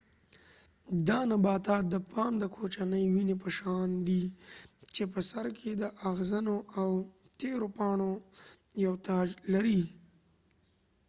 دا نباتات د پام د کوچنی ونی په شان دي چې په سر کې د اغزنو او تیرو پاڼو یو تاج لري